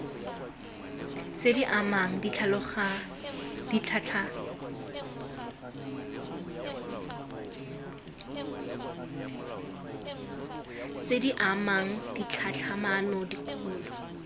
tse di amang ditlhatlhamano dikgolo